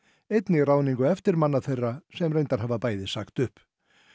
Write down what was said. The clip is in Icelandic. einnig ráðningu eftirmanna þeirra sem reyndar hafa bæði sagt upp